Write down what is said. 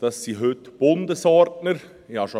Dies macht heute Bundesordner aus.